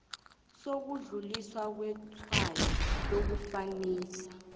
sokudluliswa kwetshwayo lokufanisa